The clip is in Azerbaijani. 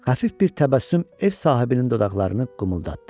Xəfif bir təbəssüm ev sahibinin dodaqlarını qımıldatdı.